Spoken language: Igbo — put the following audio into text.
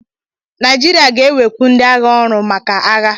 Naijiria ga-ewekwu ndị agha ọrụ maka agha